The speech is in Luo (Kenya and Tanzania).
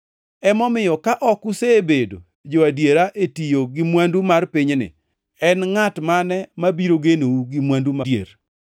Emomiyo ka ok usebedo jo-adiera e tiyo gi mwandu mar pinyni, en ngʼat mane mabiro genou gi mwandu madier?